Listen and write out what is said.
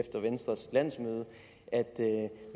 efter venstres landsmøde at